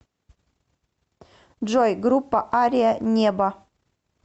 джой группа ария небо